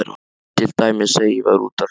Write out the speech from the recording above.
Til dæmis þegar ég var úti að hlaupa.